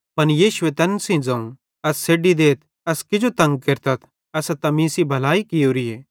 पन यीशुए तैन सेइं ज़ोवं एस छ़ेड्डी देथ एस किजो तंग केरतथ एसां त मीं सेइं भलाई कियोरीए